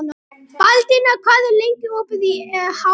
Baldína, hvað er lengi opið í HR?